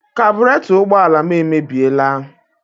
Kabụreto ụgbọala m emebiela.